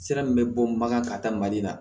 Sira min bɛ bɔ bagan ka taa mali la